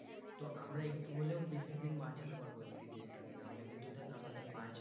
তো আমরা একটু হলেও বেশি দিন বাঁচাতে পারব এই পৃথিবীটাকে না হলে কিন্তু দেখ আমাদের বাঁচবে না